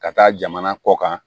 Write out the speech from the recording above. Ka taa jamana kɔ kan